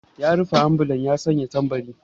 Ya rufe ambulan ya sanya tambari.